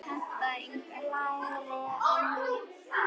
lægri en nú.